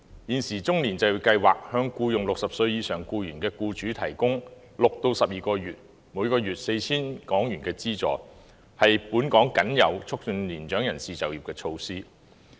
現時中高齡就業計劃向僱用60歲及以上僱員的僱主提供6至12個月、每月 4,000 港元的資助，是本港僅有促進年長人士就業的措施。